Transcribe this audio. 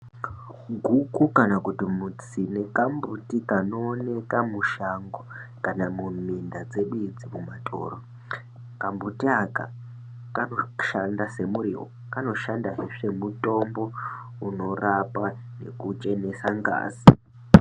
Guku kana kuti mutsine kambuti kanooneka mushango kana muminda dzedu idzi mumatoro. Kambuti aka kanoshanda semuriwo, kanoshandahe semutombo unorapa nekuchenesa ngazi.